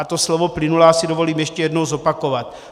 A to slovo plynulá si dovolím ještě jednou zopakovat.